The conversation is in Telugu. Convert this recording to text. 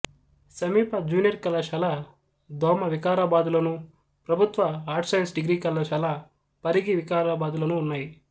సమీప జూనియర్ కళాశాల దోమ వికారాబాద్ లోను ప్రభుత్వ ఆర్ట్స్ సైన్స్ డిగ్రీ కళాశాల పరిగి వికారాబాద్ లోనూ ఉన్నాయి